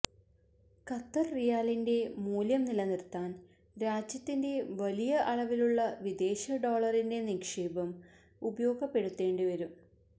Qatar റിയാലിന്റെ മൂല്യം നിലനിർത്താൻ രാജ്യത്തിന്റെ വലിയ അളവിലുള്ള വിദേശ ഡോളറിന്റെ നിക്ഷേപം ഉപയോഗപ്പെടുത്തേണ്ടിവരും